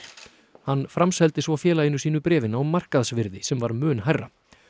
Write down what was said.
hann framseldi svo félaginu sínu bréfin á markaðsvirði sem var mun hærra